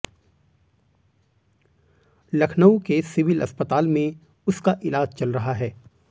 लखनऊ के सिविल अस्पताल में उसका इलाज चल रहा है